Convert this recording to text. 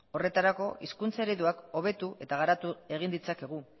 horretarako hizkuntza ereduak hobetu eta garatu egin ditzakegu